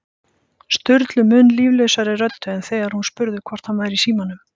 Sturlu mun líflausari röddu en þegar hún spurði hvort hann væri í símanum